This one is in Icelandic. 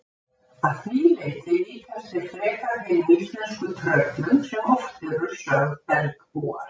Að því leyti líkjast þeir frekar hinum íslensku tröllum sem oft eru sögð bergbúar.